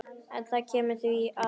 En það kemur að því.